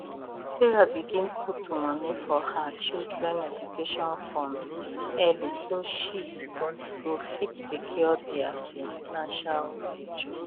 sarah begin put money for her children education fund early so she go fit secure their financial future